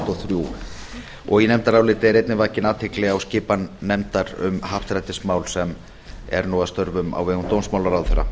og þrjú í nefndaráliti er einnig vakin athygli á skipan nefndar um happdrættismál sem er nú að störfum á vegum dómsmálaráðherra